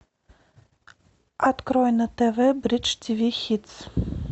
открой на тв бридж ти ви хитс